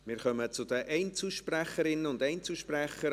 Wir kommen zu den Einzelsprecherinnen und Einzelsprechern;